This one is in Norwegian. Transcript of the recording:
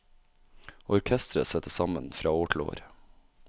Orkestret settes sammen fra år til år.